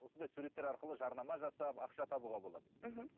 осындай суреттер арқылы жарнама жасап ақша табуға болады мхм